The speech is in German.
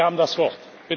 Sie haben das Wort.